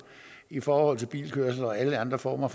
i forhold til bilkørsel og alle andre former